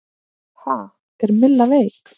Ha, er Milla veik?